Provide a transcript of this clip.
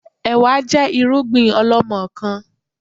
Ẹ̀wá jẹ́ irúgbìn ọlọmọkan